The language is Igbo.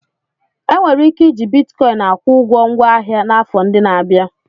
E nwere ike iji Bitkọịn akwụ ụgwọ ngwa ahịa n'afọ ndị na-abịa.